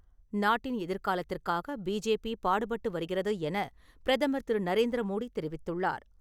நாட்டின் எதிர்காலத்திற்காக பிஜேபி பாடுபட்டு வருகிறது என பிரதமர் திரு நரேந்திர மோடி தெரிவித்துள்ளார்.